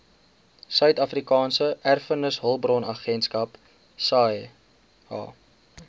suidafrikaanse erfenishulpbronagentskap saeha